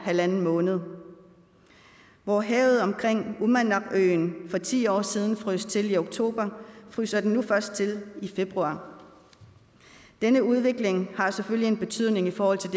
halv måned hvor havet omkring uummannaqøen for ti år siden frøs til i oktober fryser det nu først til i februar denne udvikling har selvfølgelig en betydning i forhold til